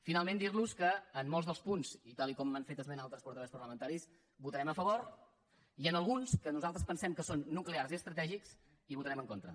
finalment dir los que en molts dels punts i tal com han fet esment altres portaveus parlamentaris votarem a favor i en alguns que nosaltres pensem que són nuclears i estratègics hi votarem en contra